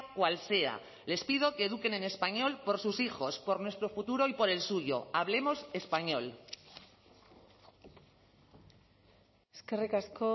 cual sea les pido que eduquen en español por sus hijos por nuestro futuro y por el suyo hablemos español eskerrik asko